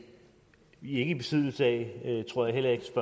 i besiddelse af og jeg tror heller ikke